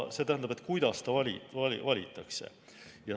See tähendab, et kuidas ta valitakse.